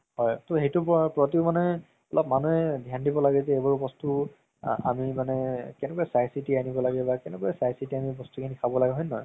হয় তৌ সেইটোৰ প্ৰতিও মানে অলপ মানুহে ধ্যান দিব লাগে যে এইবোৰ বস্তু আ আমি মানে কেনেকুৱা চাই চিতি আনিব লাগে বা কেনেকুৱা চাই চিতি বস্তু খিনি খাব লাগে হয় নে নহয়